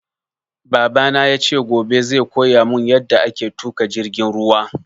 Babana yace gobe zai koyamun yaɗa ake tuƙa jirgin ruwa